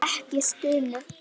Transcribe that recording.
Ekki stunu.